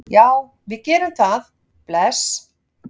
Já, við gerum það. Bless.